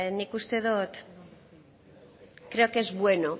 nik uste dut creo que es bueno